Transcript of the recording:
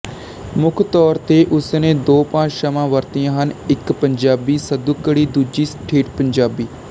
ਮੁੱਖ ਤੌਰ ਤੇ ਉਸ ਨੇ ਦੋ ਭਾਸ਼ਾਵਾਂ ਵਰਤੀਆਂ ਹਨ ਇੱਕ ਪੰਜਾਬੀ ਸਧੁੱਕੜੀ ਦੂਜੀ ਠੇਠ ਪੰਜਾਬੀ